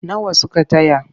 Nawa suka taya?